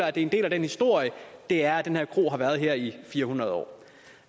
er en del af den historie det er at den her kro har været her i fire hundrede år